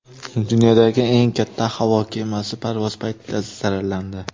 Dunyodagi eng katta havo kemasi parvoz paytida zararlandi.